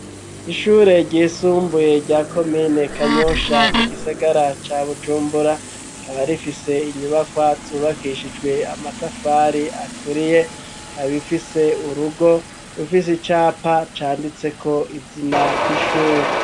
Ishure ryisumbuye rya komine kanyosha mu gisagara ca bujumbura kaba rifise inyubaka zubakishijwe amatafari aturiye kabifise urugo rufise icapa canditseko izina ry'ishure.